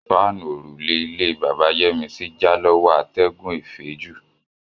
Páànú ọ̀rùlẹ́ ilẹ̀ Bàbá Yẹmísí jà lọwọ́ àtẹ̀gùn èféjù.